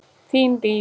Þín Líf.